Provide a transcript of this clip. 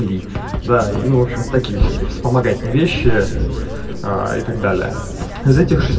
дай ну в общем так и будешь помогать не вещи и так далее